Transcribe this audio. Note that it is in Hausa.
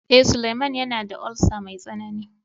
Eh, Suleman yana da "ulcer" mai tsanani.